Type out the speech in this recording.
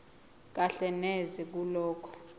kahle neze kulokho